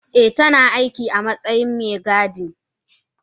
Eh tana aiki matsayin Megadi.